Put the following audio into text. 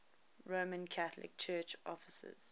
roman catholic church offices